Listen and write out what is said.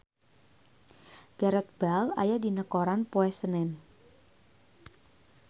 Gareth Bale aya dina koran poe Senen